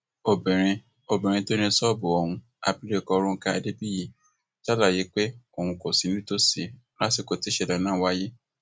obìnrin obìnrin tó ní ṣọọbù ohun abilékọ ronke adébíyì ṣàlàyé pé òun kò sí nítòsí lásìkò tí ìṣẹlẹ náà wáyé